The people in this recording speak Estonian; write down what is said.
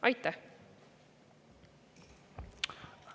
Aitäh!